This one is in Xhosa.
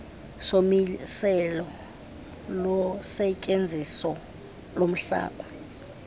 somiselo losetyenziso lomhlaba